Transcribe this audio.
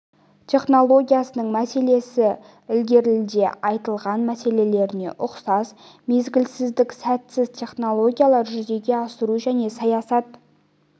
технологиясының мәселесі ілгеріде айтылған мәселелеріне ұқсас мезгілсіздік сәтсіз технологиялар жүзеге асыру және саясат